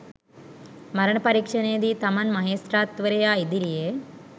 මරණ පරීක්ෂණයේදී තමන් මහේස්ත්‍රාත්වරයා ඉදිරියේ